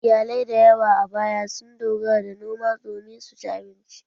Iyalai da yawa a baya sun dogara ga noma domin su ci abinci.